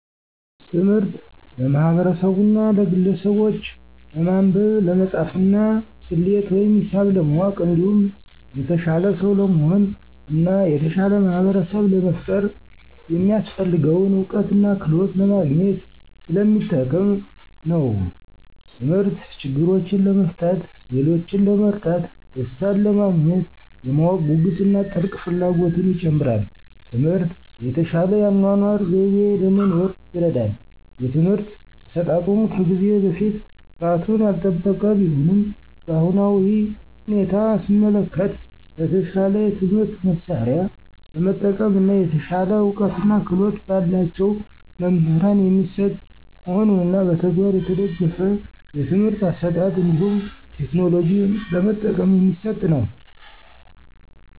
ትምህርት ለማህበርሰቡና ለግለሰቡች ለማንበብ፣ ለመፃፍና፣ ሰሌት ወይም ሂሳብ ለማወቅ እንዲሁም የተሻለ ሰው ለመሆን እና የተሻለ ማህበርሰብ ለመፍጠር የሚያሰፍልገውን እውቀትና ክህሎት ለማግኝት ሰለሚጠቅም ነው። ተምህርት ችግሮችን ለመፍታት፣ ሌሎችን ለመርዳት፣ ደሰታንለማግኘት፣ የማወቅ ጉጉትን እና ጥልቅ ፍላጎትን ይጨምራል። ትምህርት የተሻለ የአኗኗር ዘይቤ ለመኖር ይርዳል። የትምህርት አሰጣጡም ከዚህ በፊት ጥራቱን ያልጠበቀ ቢሆንም በአሁናዊ ሁኔታ ሰመለከት በተሻለ የትምህርት መሳርያ በመጠቀም እና የተሻለ እውቀትና ክህሎት በላቸው መምህራን የሚሰጥ መሆኑንና በተግባር የተደገፍ የትምህርት አሰጣጥ እንዲሁም ቴክኖሎጂ በመጠቀም የሚሰጥ ነው።